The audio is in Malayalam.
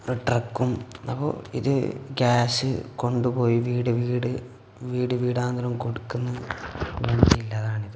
ട്രക്കും അപ്പോ ഇത് ഗ്യാസ് കൊണ്ടുപോയി വീട് വീട് വീട് വീടാന്തരം കൊടുക്കുന്ന വണ്ടിയില്ലേ അതാണിത്.